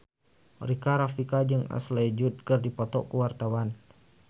Rika Rafika jeung Ashley Judd keur dipoto ku wartawan